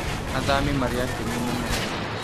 Athami mari akenu mũno